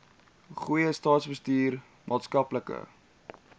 goeie staatsbestuur maatskaplike